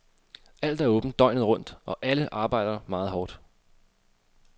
Alt er åbent, døgnet rundt, og alle arbejder meget hårdt.